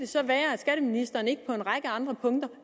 så være at skatteministeren ikke på en række andre punkter